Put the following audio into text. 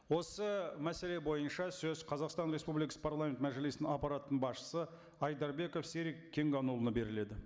осы мәселе бойынша сөз қазақстан республикасы парламент мәжілісінің аппараттың басшысы айдарбеков серік кенғанұлына беріледі